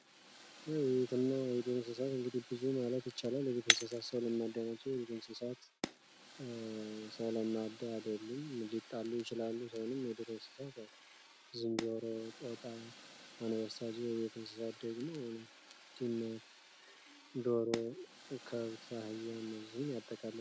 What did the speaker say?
የቤት እንስሳት ሰው ለማዳ ናቸው ።የዱር እንስሳት ግን ለማዳ አይደሉም። ሊጣሉ ይችላሉ። ከዱር እንስሳቶች መካከል ዝንጀሮ ፣ጅብ፣ አንበሳ እና የመሳሰሉት ናቸው ።ከቤት እንስሳት መካከል ደግሞ ዉሻ፣ ድመትና የመሳሰሉት ናቸው ።